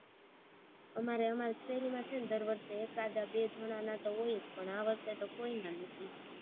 અમારે અમારી શેરીમાં દર વર્ષે એકાદા બે જણાના તો હોય જ પણ આ વખતે તો કોઈના નથી